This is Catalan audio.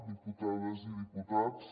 diputades i diputats